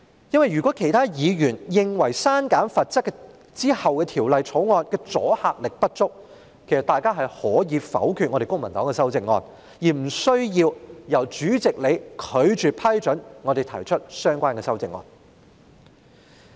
如果原因是其他議員認為刪減罰則後，《條例草案》的阻嚇力不足，其實議員可以否決公民黨的修正案，無須由主席拒絕批准我們提出相關的修正案。